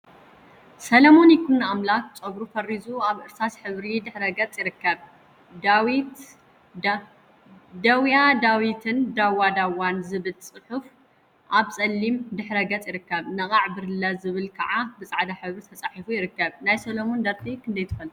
ሰለሞን ይኩኖአምላክ ፀጉሩ ፈሪዙ አብ እርሳስ ሕብሪ ድሕረ ገፅ ይርከብ፡፡ ዲዊያ ዳዊትን ዳዋ ዳዋን ዝብል ፅሑፍ አብ ፀሊም ድሕረ ገፅ ይርከብ፡፡ ነቃዕ ብርለ ዝብል ከዓ ብፃዕዳ ሕብሪ ተፃሒፉ ይርከብ፡፡ ናይ ሰሎሞን ደርፊ ክንደይ ትፈልጡ?